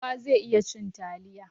Kowa zai iya cin taliya.